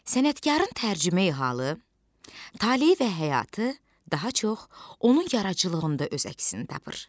Sənətkarın tərcümeyi-halı, taleyi və həyatı daha çox onun yaradıcılığında öz əksini tapır.